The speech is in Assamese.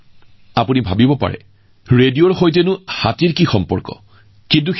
নামটো শুনি আপুনি হয়তো ভাবিব পাৰে যে ৰেডিঅ আৰু হাতীৰ মাজত কি সংযোগ থাকিব পাৰে